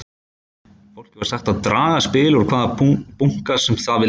Fólki var sagt að draga spil úr hvaða bunka sem það vildi.